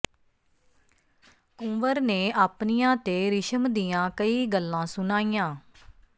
ਕੁੰਵਰ ਨੇ ਆਪਣੀਆਂ ਤੇ ਰਿਸ਼ਮ ਦੀਆਂ ਕਈ ਗੱਲਾਂ ਸੁਣਾਈਆਂ